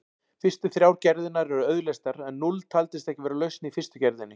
Fyrstu þrjár gerðirnar eru auðleystar en núll taldist ekki vera lausn í fyrstu gerðinni.